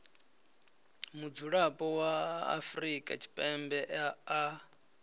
mudzulapo wa afrika tshipembe a